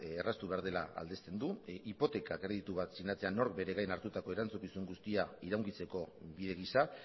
erraztu behar dela aldezten du hipoteka kreditu bat sinatzean nork bere gain hartutako erantzukizun guztia iraungitzeko bide gisa